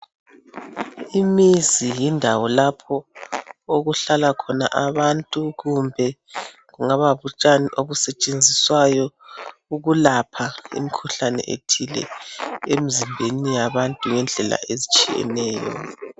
Imizi yindawo lapho okuhlala khona abantu kumbe kungaba butshani obusetshenziswayo ukulapha imikhuhlane ethile emzimbeni yabantu ngendlela ezitshiyeneyo.